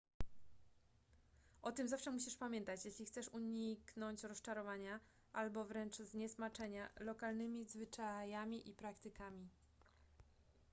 o tym zawsze musisz pamiętać jeśli chcesz uniknąć rozczarowania albo wręcz zniesmaczenia lokalnymi zwyczajami i praktykami